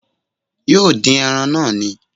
Yóò dín ẹran náà ni